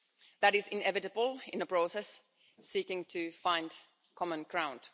That is inevitable in a process seeking to find common ground.